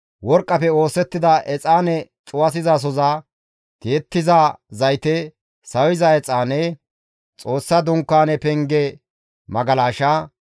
worqqafe oosettida exaane cuwasizasoza, tiyettiza zayte, sawiza exaane, Xoossa Dunkaane penge magalasha,